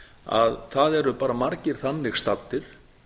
að það eru bara margir þannig staddir